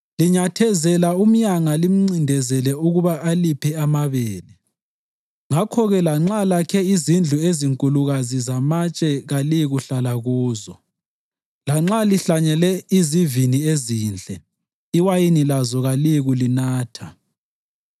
Linyathezela umyanga limncindezele ukuba aliphe amabele. Ngakho-ke, lanxa lakhe izindlu ezinkulukazi zamatshe kaliyikuhlala kuzo; lanxa lihlanyele izivini ezinhle, iwayini lazo kaliyikulinatha.